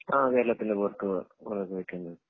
ആഹ് കേരളത്തിന് പൊറത്ത് കൊറേ പോയിട്ടുണ്ട്